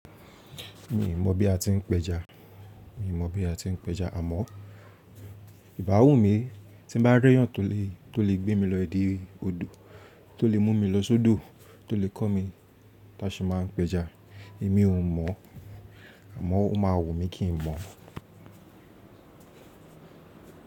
Mi mọ̀ bí a ti ń pẹja, mi mọ̀ bí a ti ń pẹja àmọ́ ìbáwù mi tí n bá rẹ́yàn tó lè, tó lè gbé mi lọ́ idi òdo, tó lè mú mi lọ sódò, tó lè kọ́ mi tí a ṣe máa ń pẹja, èmi ò mọ̀ àmọ́ ó máa wù mí kí n mọ̀.